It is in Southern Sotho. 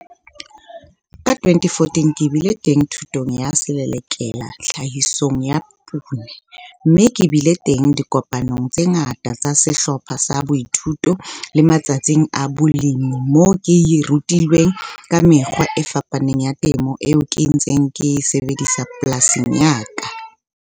Ka 2014 ke bile teng thutong ya Selelekela Tlhahisong ya Poone, mme ke bile teng dikopanong tse ngata tsa sehlopha sa boithuto le matsatsing a balemi moo ke rutilweng ka mekgwa e fapaneng ya temo eo ke ntseng ke e sebedisa polasing ya ka.